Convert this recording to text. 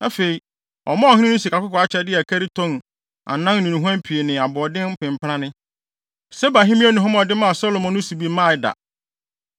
Afei, ɔmaa ɔhene no sikakɔkɔɔ akyɛde a ɛkari tɔn 4 ne nnuhuam pii ne aboɔden mpempranne. Seba hemmea nnuhuam a ɔde maa Salomo no so bi mmaa da.